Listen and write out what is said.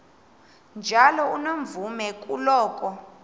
njalo unomvume kuloko